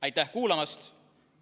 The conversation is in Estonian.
Aitäh kuulamast!